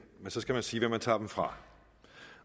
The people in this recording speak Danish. men så skal man sige hvem man tager dem fra